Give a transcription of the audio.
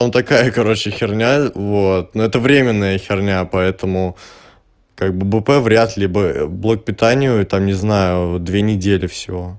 там такая короче херня вот ну это временная херня поэтому как бы пб вряд ли бы блок питанию там не знаю две недели всего